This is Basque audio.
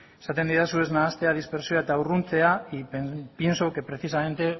esaten didazu ez nahastea dispertsioa eta urruntzea y pienso que precisamente